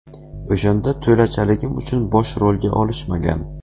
O‘shanda to‘lachaligim uchun bosh rolga olishmagan.